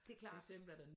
Det klart